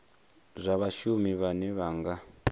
zwa vhashumi vhane vha nga